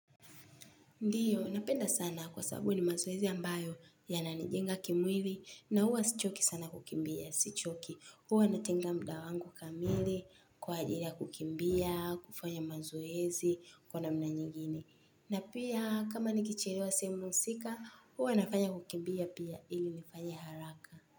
Ndioo napenda sana kwa sababu ni mazoezi ambayo yananijenga kimwili na huwa sichoki sana kukimbia, sichoki. Huwa natenga muda wangu kamili, kwa ajili ya kukimbia, kufanya mazoezi, kwa namna nyigine. Na pia kama nikichelewa sehemu husika, huwa nafanya kukimbia pia ili nifanye haraka.